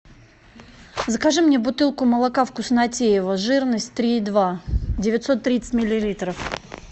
закажи мне бутылку молока вкуснотеево жирность три и два девятьсот тридцать миллилитров